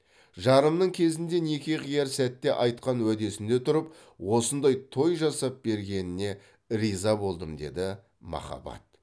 жарымның кезінде неке қияр сәтте айтқан уәдесінде тұрып осындай той жасап бергеніне риза болдым деді махабат